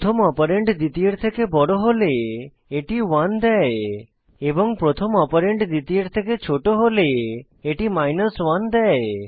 প্রথম অপারেন্ড দ্বিতীয়ের থেকে বড় হলে এটি 1 দেয় এবং প্রথম অপারেন্ড দ্বিতীয়ের থেকে ছোট হলে এটি 1 দেয়